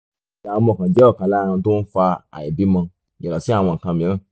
ìdààmú ọkàn jẹ́ ọ̀kan lára ohun tó ń fa àìbímọ yàtọ̀ sí àwọn nǹkan mìíràn